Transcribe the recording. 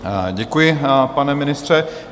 Děkuji, pane ministře.